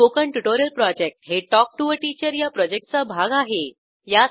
spoken tutorial project हे talk to teacher या प्रॉजेक्टचा भाग आहे